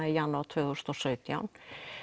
í janúar tvö þúsund og sautján